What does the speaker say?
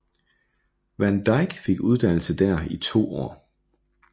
Van Dyck fik uddannelse dér i to år